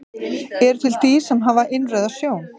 Eru til dýr sem hafa innrauða sjón?